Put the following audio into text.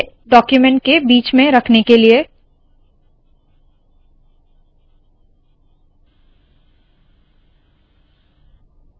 इसे डाक्यूमेन्ट के बीच में रखने के लिए